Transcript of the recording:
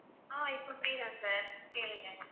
ஆஹ் இப்ப free தான் sir கேளுங்க